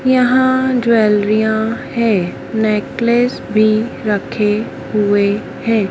यहां ज्वैलरिया हैं नेकलेस भी रखे हुए हैं।